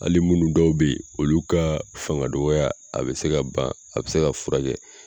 Hali munnu dɔw bɛ ye olu ka fanga dɔgɔya a bɛ se ka ban a bɛ se ka fura kɛ